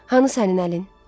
Hanı sənin əlin?